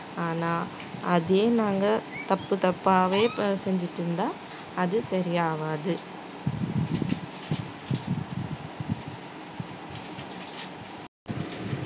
ஆனா அதே நாங்க தப்பு தப்பாவே ப~ செஞ்சுட்டு இருந்தா அது சரியாகாது